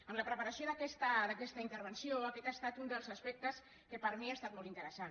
en la preparació d’aquesta intervenció aquest ha estat un dels aspectes que per a mi ha estat molt interessant